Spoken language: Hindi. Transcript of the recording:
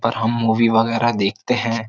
पर हम मूवी वगैरह देखते हैं।